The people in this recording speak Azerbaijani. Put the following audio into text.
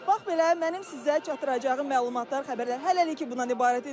Bax belə, mənim sizə çatdıracağım məlumatlar, xəbərlər hələlik bundan ibarət idi.